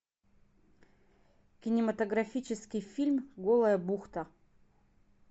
кинематографический фильм голая бухта